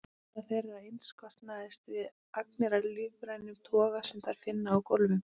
Fæða þeirra einskorðast við agnir af lífrænum toga sem þær finna á gólfum.